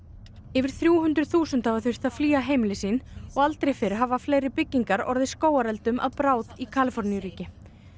yfir þrjú hundruð þúsund hafa þurft að flýja heimili sín og aldrei hafa fleiri byggingar orðið skógareldum að bráð í Kaliforníu ríki